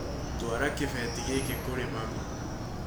Twara kĩbeti gĩkĩ kurĩ mami